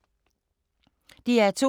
DR2